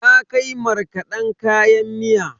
Na kai markaden kayan miya.